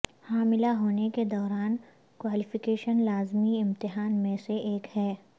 حاملہ ہونے کے دوران کوالیفیکیشن لازمی امتحان میں سے ایک ہے